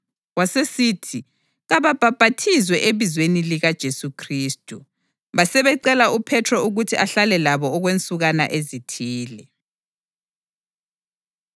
Wasesithi kababhaphathizwe ebizweni likaJesu Khristu. Basebecela uPhethro ukuthi ahlale labo okwensukwana ezithile.